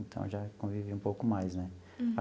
Então, eu já convivi um pouco mais, né?